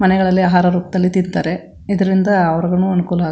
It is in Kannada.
ಮನೆಗಳಲ್ಲಿ ಆಹಾರ ರೂಪದಲ್ಲಿ ತಿಂತಾರೆ ಇದ್ರಿಂದ ಅವ್ರಗುನು ಅನುಕೂಲ --